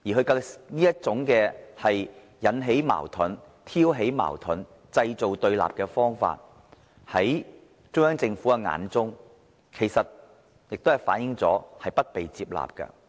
他這種引起、挑起矛盾、製造對立的方法，看在中央政府的眼中，其實亦是不被接納的。